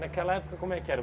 Naquela época, como é que era?